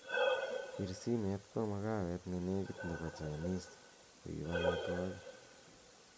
pir simet kwo mkaawet nenegit nebo chinise koib omitwogik